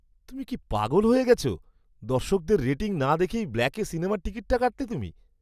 তুমি কি পাগল হয়ে গেছ? দর্শকদের রেটিং না দেখেই ব্ল্যাকে সিনেমার টিকিট কাটলে তুমি!